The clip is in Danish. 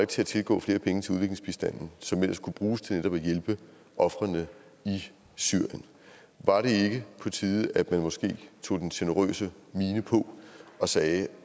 til at tilgå flere penge til udviklingsbistanden som ellers kunne bruges til netop at hjælpe ofrene i syrien var det ikke på tide at man måske tog den generøse mine på og sagde